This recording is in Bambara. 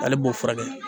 Ale b'o furakɛ